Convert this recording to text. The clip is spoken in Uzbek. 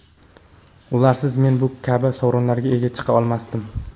Ularsiz men bu kabi sovrinlarga ega chiqa olmasdim.